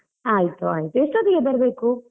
ಆಯ್ತು ಆಯ್ತು ಎಸ್ಟೊತ್ತಿಗೆ ಬರ್ಬೇಕು?